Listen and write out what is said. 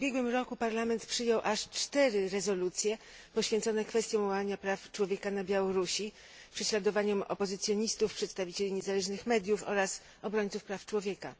W ubiegłym roku Parlament Europejski przyjął aż cztery rezolucje poświęcone kwestiom łamania praw człowieka na Białorusi, prześladowaniom opozycjonistów, przedstawicieli niezależnych mediów oraz obrońców praw człowieka.